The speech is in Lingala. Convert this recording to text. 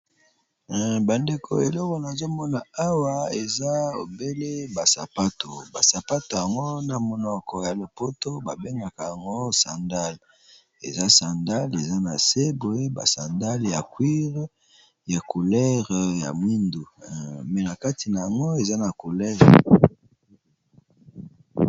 Ba ndeko eloko nazo mona awa eza obele ba sapato . Ba sapato yango na monoko ya lopoto ba bengaka yango sandale, eza sandale eza na se boye , ba sandale ya cuire ya couleur ya moyindo, mais na kati na yango eza na couleur ya......